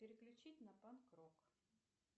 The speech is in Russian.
переключить на панк рок